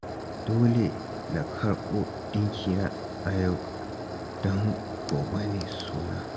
Dole na karɓo ɗinkina a yau, don gobe ne suna